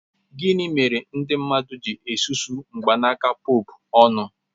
Gịnị mere ndị mmadụ ji susuo mgbanaka Pope ọnụ?